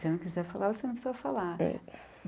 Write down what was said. Se não quiser falar, você não precisa falar.